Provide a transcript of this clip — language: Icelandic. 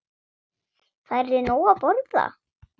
Færðu nóg að borða?